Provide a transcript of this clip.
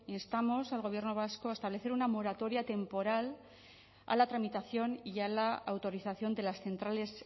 instamos al gobierno vasco a establecer una moratoria temporal a la tramitación y a la autorización de las centrales